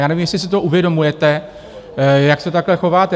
Já nevím, jestli si to uvědomujete, jak se takhle chováte.